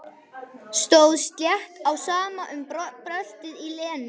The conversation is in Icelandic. Stóð slétt á sama um bröltið í Lenu.